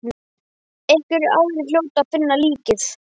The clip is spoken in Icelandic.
Einhverjir aðrir hljóta að finna líkið.